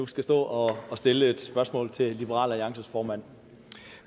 skulle stå og stille et spørgsmål til liberal alliances formand